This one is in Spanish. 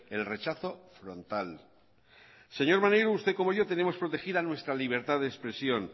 el rechazo frontal señor maneiro usted como yo tenemos protegida nuestra libertad de expresión